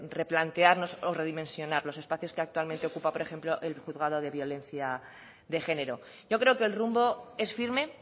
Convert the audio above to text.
replantearnos o de redimensionar los espacios que actualmente ocupa por ejemplo el juzgado de violencia de género yo creo que el rumbo es firme